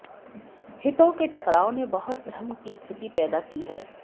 हितों के टकराव ने बहुत भ्रम की स्थिति पैदा की है